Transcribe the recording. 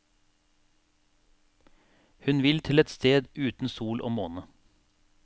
Hun vil til et sted uten sol og måne.